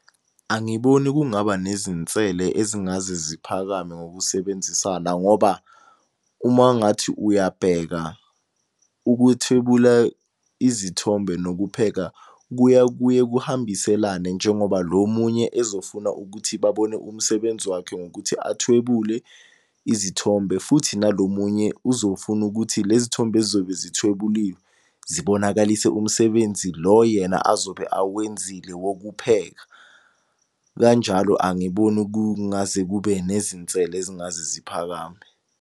Angiboni kungaba nezinsele ezingaze ziphakame ngokusebenzisana ngoba uma ungathi uyabheka ukuthwebula izithombe nokupheka, kuya kuye kuhambiselane njengoba lo omunye ezofuna ukuthi babone umsebenzi wakhe ngokuthi athwebule izithombe. Futhi nalo munye uzofuna ukuthi lezithombe ezizobe zithwebuliwe zibonakalise umsebenzi lo yena azobe awenzile wokupheka. Kanjalo angiboni kungaze kube nezinsele ezingaze ziphakame.